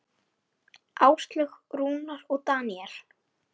Áslaug, Rúnar og Daníel.